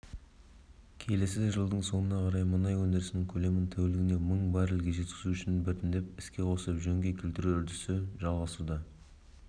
келесі жылдың соңына қарай мұнай өндірісінің көлемін тәулігіне мың баррель-ге жеткізу үшін біртіндеп іске қосып жөнге келтіру үдерісі жалғасуда